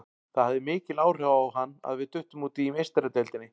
Það hafði mikil áhrif á hann að við duttum út í Meistaradeildinni.